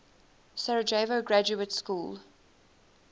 sarajevo graduate school